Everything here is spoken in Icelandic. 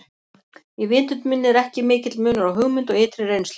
Í vitund minni er ekki mikill munur á hugmynd og ytri reynslu.